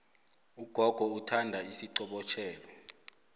ugogo uthanda isiqobotjhelo